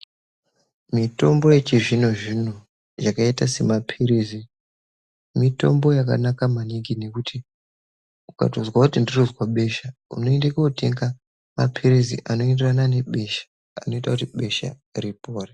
Mitombo yechizvino zvino yakaita semapilizi mitombo yakanaka maningi nekuti ukatonzwa kuti ndirikunzwa besha unoenda kunotenga mapilizi anoenderana nebesha anoita kuti besha ripore.